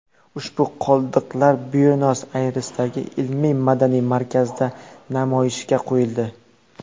Ushbu qoldiqlar Buenos-Ayresdagi ilmiy-madaniy markazda namoyishga qo‘yildi.